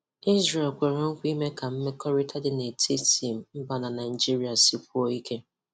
Israel kwere nkwa ime ka mmekọrịta dị n'etiti mba na Naịjirịa sikwuo ike.